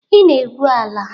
Ị na-egwu ala.